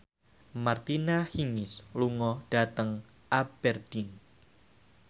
Martina Hingis lunga dhateng Aberdeen